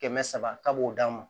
Kɛmɛ saba k'a b'o d'an ma